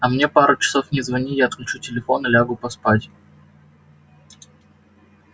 а мне пару часов не звони я отключу телефон и лягу поспать